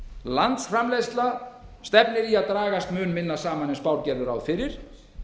landsframleiðsla stefnir í að dragast mun minna saman en spár gerðu ráð fyrir